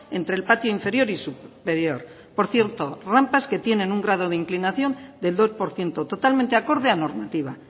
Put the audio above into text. entre el patio inferior y superior por cierto rampas que tienen un grado de inclinación del dos por ciento totalmente acorde a normativa